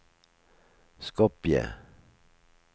Skopje